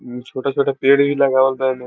उ छोटा-छोटा पेड़ भी लगावल बा इ मे।